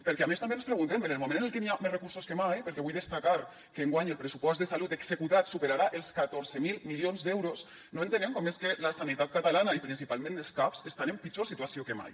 perquè a més també ens preguntem en el moment en el que n’hi ha més recursos que mai perquè vull destacar que enguany el pressupost de salut executat superarà els catorze mil milions d’euros no entenem com és que la sanitat catalana i principalment els cap estan en pitjor situació que mai